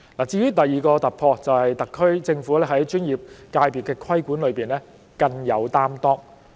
至於第二個突破，就是特區政府在專業界別的規管方面更有擔當。